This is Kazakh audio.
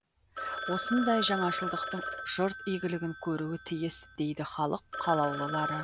осындай жаңашылдықтың жұрт игілігін көруі тиіс дейді халық қалаулылары